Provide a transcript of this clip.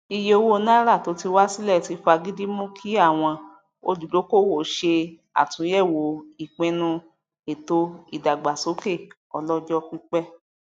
iye owó nàírà to ti wa silẹ ti fàgidi mú kí àwọn olùdókòwò ṣe àtúnyẹwo ìpinnu ètò ìdàgbàsókè ọlọjọpípẹ